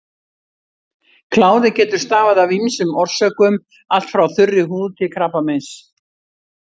Kláði getur stafað af ýmsum orsökum, allt frá þurri húð til krabbameins.